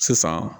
Sisan